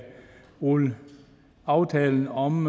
rulle aftalen om